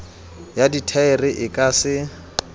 ya dithaere e ka se